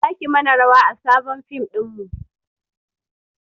Zaki mana rawa a sabon fim ɗinmu